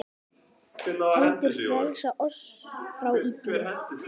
heldur frelsa oss frá illu.